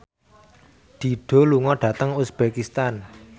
Dido lunga dhateng uzbekistan